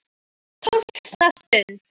TÓLFTA STUND